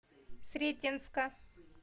сретенска